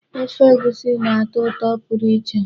Ofe egusi na-atọ ụtọ pụrụ iche.